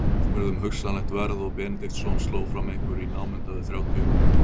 Baróninn spurði um hugsanlegt verð og Benediktsson sló fram einhverju í námunda við þrjátíu þúsund.